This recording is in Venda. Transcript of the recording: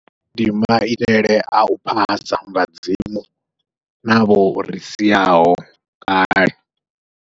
Ndi maitele au phasa vhadzimu, navho ri siaho kale.